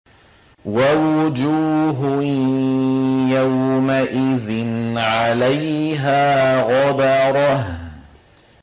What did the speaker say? وَوُجُوهٌ يَوْمَئِذٍ عَلَيْهَا غَبَرَةٌ